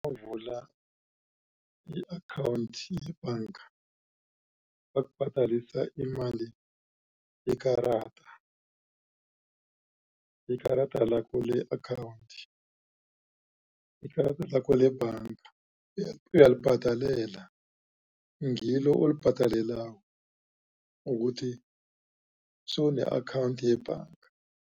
i-account yebhanga bakubhadelisa imali yekarada. Ikarada lakho le-account ikarada lakho lebhanga uyalibhadalela ngilo olibhadalelako ukuthi sewune-account yebhanga.